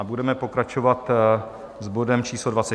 A budeme pokračovat s bodem číslo